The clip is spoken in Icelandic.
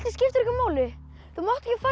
skiptir engu máli þú